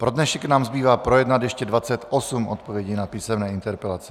Pro dnešek nám zbývá projednat ještě 28 odpovědí na písemné interpelace.